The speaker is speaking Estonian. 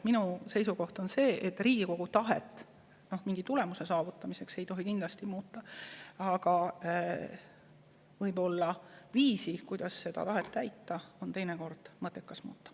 Minu seisukoht on see, et Riigikogu tahet mingi tulemuse saavutamise nimel ei tohi kindlasti muuta, aga viisi, kuidas seda tahet täita, on teinekord mõttekas muuta.